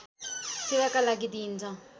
सेवाका लागि दिइन्छ